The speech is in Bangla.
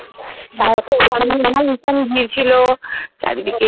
চারিদিকে